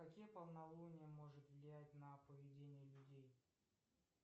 какие полнолуния может влиять на поведение людей